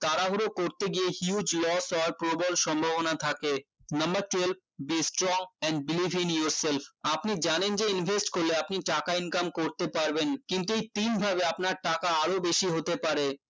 তাড়াহুড়ো করতে গিয়ে huge loss হওয়ার প্রবল সম্ভাবনা থাকে number twelve the strong and beleiving yourself আপনি জানেন যে invest করলে আপনি টাকা income করতে পারবেন কিন্তু এই তিনভাবে আপনার টাকা আরো বেশি হতে পারে